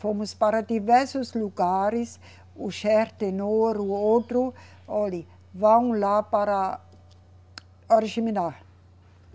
Fomos para diversos lugares, o, o outro, olhe, vão lá para Oriximiná